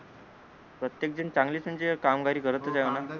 प्रत्येक जण चांगलीच म्हणजे कामगारी करत होते आता